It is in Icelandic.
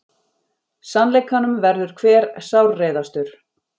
Sannleikanum verður hver sárreiðastur.